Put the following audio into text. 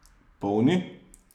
Polni?